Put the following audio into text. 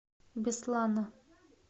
беслана